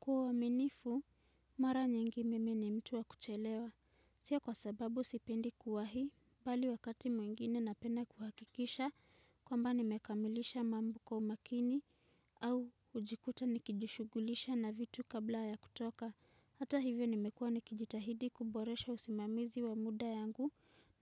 Kwa uaminifu, mara nyingi mimi ni mtu wa kuchelewa. Tia kwa sababu sipendi kuwa hii, bali wakati mwingine napenda kuhakikisha kwamba nimekamilisha mambo kwa umakini au kujikuta nikijishugulisha na vitu kabla ya kutoka. Hata hivyo nimekuwa nikijitahidi kuboresha usimamizi wa muda yangu